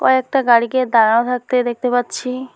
কয়েকটা গাড়িকে দাঁড়া থাকতে দেখতে পাচ্ছি।